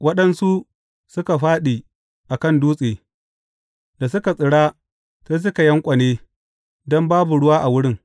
Waɗansu suka fāɗi a kan dutse, da suka tsira sai suka yanƙwane don babu ruwa a wurin.